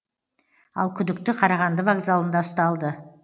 ал күдікті қарағанды вокзалында ұсталды